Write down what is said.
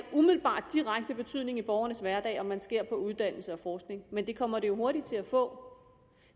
direkte betydning i borgernes hverdag om man skærer på uddannelse og forskning men det kommer det jo hurtigt til at få